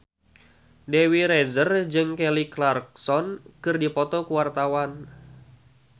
Dewi Rezer jeung Kelly Clarkson keur dipoto ku wartawan